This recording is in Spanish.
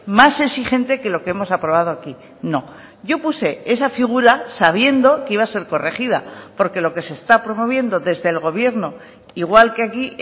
más exigente que lo que hemos aprobado aquí no yo puse esa figura sabiendo que iba a ser corregida porque lo que se está promoviendo desde el gobierno igual que aquí